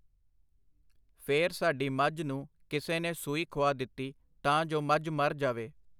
ਫਿਰ ਸਾਡੀ ਮੱਝ ਨੂੰ ਕਿਸੇ ਨੇ ਸੂਈ ਖੁਆ ਦਿੱਤੀ ਤਾਂ ਜੋ ਮੱਝ ਮਰ ਜਾਵੇ.